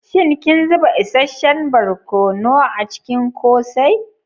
Shin kin zuba isasshen barkono a cikin kose?